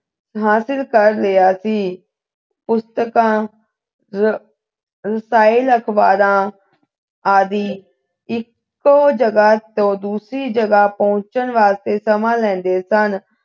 ਹਾਸਿਲ ਕਰ ਲਿਆ ਸੀ ਪੁਸਤਕਾਂ ਆਹ ਰਸਾਲੇ ਅਖਬਾਰਾਂ ਆਦਿ ਇੱਕੋ ਜਗਾ ਤੋਂ ਦੂਸਰੀ ਜਗ੍ਹਾ ਪਹੁੰਚਣ ਵਾਸਤੇ ਸਮਾਂ ਲੈਂਦੇ ਸਨ